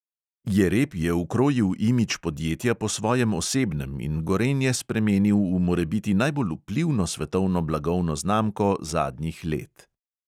Jereb je ukrojil imidž podjetja po svojem osebnem in gorenje spremenil v morebiti najbolj vplivno svetovno blagovno znamko zadnjih let.